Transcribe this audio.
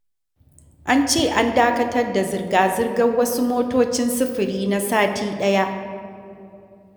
An ce an dakatar da zirga-zirgar wasu motocin sufuri na sati ɗaya.